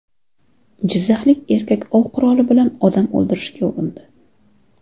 Jizzaxlik erkak ov quroli bilan odam o‘ldirishga urindi.